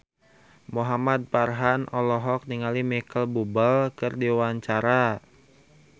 Muhamad Farhan olohok ningali Micheal Bubble keur diwawancara